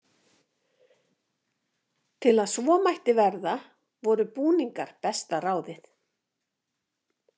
Til að svo mætti verða voru búningar besta ráðið.